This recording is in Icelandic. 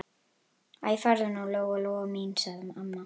Æ, farðu nú, Lóa-Lóa mín, sagði amma.